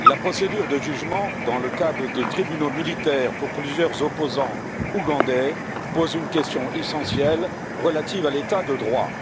Monsieur le Président, la procédure de jugement, dans le cadre de tribunaux militaires, de plusieurs opposants ougandais, pose une question essentielle relative à l'état de droit.